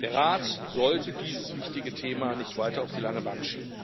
Der Rat sollte dieses wichtige Thema nicht weiter auf die lange Bank schieben.